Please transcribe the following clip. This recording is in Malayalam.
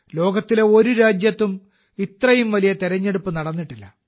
ലോകത്തിലെ ഒരു രാജ്യത്തും ഇത്രയും വലിയ തെരഞ്ഞെടുപ്പ് നടന്നിട്ടില്ല